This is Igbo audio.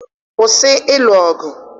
kwụsị elu ọgụ!